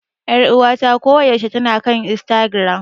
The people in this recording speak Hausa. Ƴaruwata ko yaushe tana kan Istagiram.